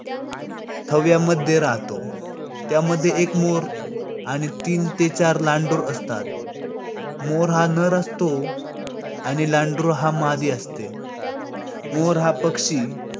थव्यामध्ये राहतो. त्यामध्ये एक मोर आणि तीन ते चार लांडोर असतात. मोर हा नर असतो आणि लांडोर हा मादी असते. मोर हा पक्षी